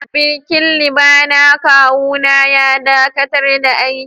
Birkin liba na kawu na ya dakatar da aiki.